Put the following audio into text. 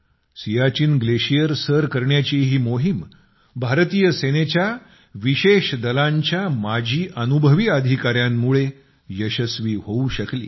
Siachen glacier सर करण्याची ही मोहीम भारतीय सेनेच्या विशेष दलांच्या माजी अधिकाऱ्यांमुळे यशस्वी होऊ शकली